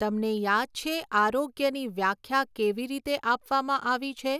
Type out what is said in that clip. તમને યાદ છે આરોગ્યની વ્યાખ્યા કેવી રીતે આપવામાં આવી છે?